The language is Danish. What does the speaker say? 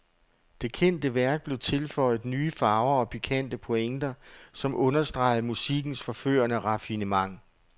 Det kendte værk blev tilføjet nye farver og pikante pointer, som understregede musikkens forførende raffinement.